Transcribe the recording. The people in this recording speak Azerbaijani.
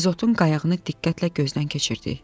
İzotun qayağını diqqətlə gözdən keçirdik.